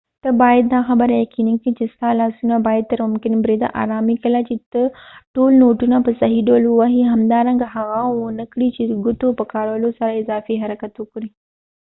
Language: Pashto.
ته باید دا خبره یقینی کړي چې ستا لاسونه باید تر ممکن بریده ارام وي کله چې ته ټول نوټونه په صحیح ډول وهی همدارنګه هڅه ونه کړي چې ګوتو په کارولو سره اضافی حرکت وکړي